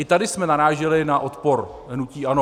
I tady jsme naráželi na odpor hnutí ANO.